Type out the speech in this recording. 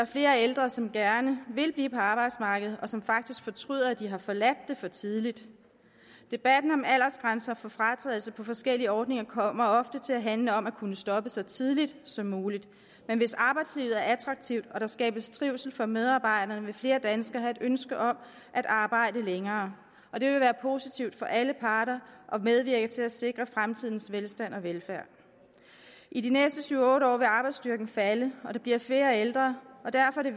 flere ældre som gerne vil blive på arbejdsmarkedet og som faktisk fortryder at de har forladt det for tidligt debatten om aldersgrænser for fratrædelse på forskellige ordninger kommer ofte til at handle om at kunne stoppe så tidligt som muligt men hvis arbejdslivet er attraktivt og der skabes trivsel for medarbejderne vil flere danskere have et ønske om at arbejde længere det vil være positivt for alle parter og medvirke til at sikre fremtidens velstand og velfærd i de næste syv otte år vil arbejdsstyrken falde og der bliver flere ældre og derfor er